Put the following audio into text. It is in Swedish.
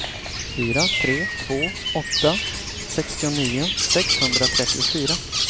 fyra tre två åtta sextionio sexhundratrettiofyra